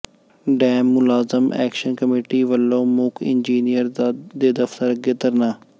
dam ਮੁਲਾਜ਼ਮ action committee ਵੱਲੋਂ ਮੁੱਖ ਇੰਜਨੀਅਰ ਦੇ ਦਫ਼ਤਰ ਅੱਗੇ ਧਰਨਾ